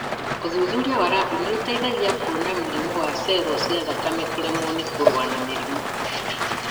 ũthuthuria wa rabu nĩũteithagia kuona mũrimũ wa cero cia thakame kũremwo ni kũrũa na mĩrimũ